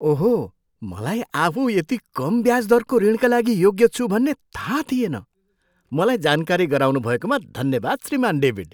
ओहो! मलाई आफू यति कम ब्याज दरको ऋणका लागि योग्य छु भन्ने थाहा थिएन। मलाई जानकारी गराउनुभएकोमा धन्यवाद, श्रीमान् डेभिड।